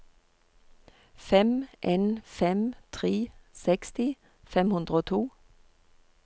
fem en fem tre seksti fem hundre og to